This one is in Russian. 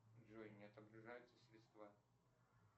джой не отображаются средства